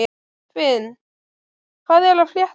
Finn, hvað er að frétta?